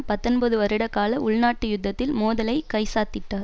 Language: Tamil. பத்தொன்பது வருடகால உள்நாட்டு யுத்தத்தில் மோதலை கைச்சாத்திட்டார்